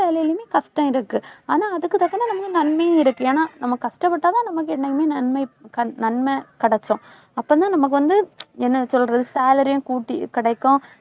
வேலையிலும் கஷ்டம் இருக்கு. ஆனா அதுக்கு தக்கன நம்மளுக்கு நன்மையும் இருக்கு. ஏன்னா நம்ம கஷ்டப்பட்டாதான் நமக்கு என்னைக்குமே நன்மை நன்மை கிடைச்சுடும். அப்பதான் நமக்கு வந்து என்ன சொல்றது salary யும் கூட்டி கிடைக்கும்.